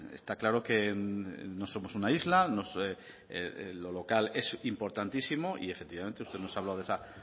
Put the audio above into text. está claro que no somos una isla lo local es importantísimo y efectivamente usted nos ha hablado de esa